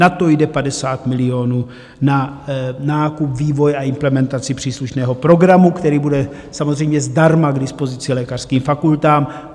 Na to jde 50 milionů, na nákup, vývoj a implementaci příslušného programu, který bude samozřejmě zdarma k dispozici lékařským fakultám.